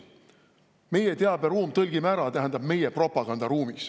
Meie teaberuum, tõlgime ära, tähendab meie propagandaruumi.